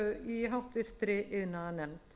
í háttvirtri iðnaðarnefnd